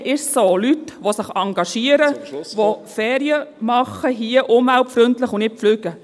Hier ist es so: Leute, die sich engagieren, …… die hier umweltfreundliche Ferien machen und nicht fliegen.